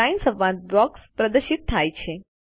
line સંવાદ box પ્રદર્શિત થાય છે